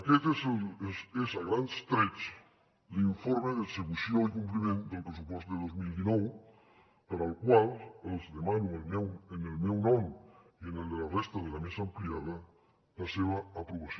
aquest és a grans trets l’informe d’execució i compliment del pressupost de dos mil dinou per al qual els demano en el meu nom i en el de la resta de la mesa ampliada la seva aprovació